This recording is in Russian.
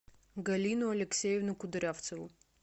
галину алексеевну кудрявцеву